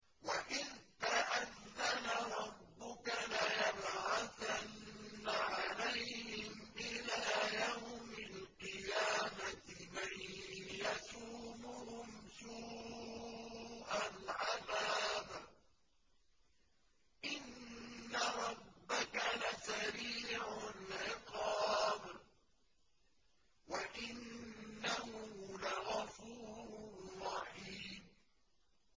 وَإِذْ تَأَذَّنَ رَبُّكَ لَيَبْعَثَنَّ عَلَيْهِمْ إِلَىٰ يَوْمِ الْقِيَامَةِ مَن يَسُومُهُمْ سُوءَ الْعَذَابِ ۗ إِنَّ رَبَّكَ لَسَرِيعُ الْعِقَابِ ۖ وَإِنَّهُ لَغَفُورٌ رَّحِيمٌ